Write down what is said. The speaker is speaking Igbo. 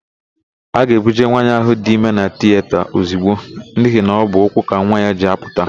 A ga-ebuje nwaanyị ahụ dị ime na tiyeta ozigbo n'ihi na ọ bụ ụkwụ ka nwa ya ji apụta.